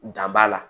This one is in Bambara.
Dan b'a la